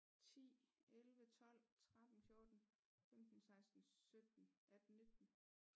10 11 12 13 14 15 16 17 18 19